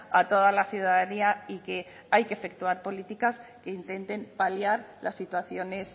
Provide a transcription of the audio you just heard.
a toda la ciudadanía y que hay que efectuar políticas que intenten paliar las situaciones